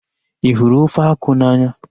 Ị hụrụ ofe akwụ n'anya?